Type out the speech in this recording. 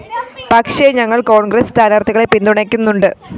പക്ഷെ ഞങ്ങള്‍ കോണ്‍ഗ്രസ് സ്ഥാനാര്‍ഥികളെ പിന്തുണയ്ക്കുന്നുണ്ട്